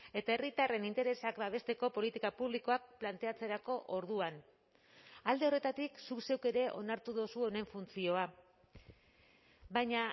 eta herritarren interesak babesteko politika publikoak planteatzerako orduan alde horretatik zuk zeuk ere onartu duzu honen funtzioa baina